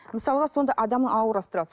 мысалға сонда адамның аурасы тұрады